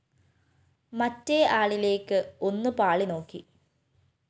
മറ്റേ ആളിലേക്ക് ഒന്നു പാളി നോക്കി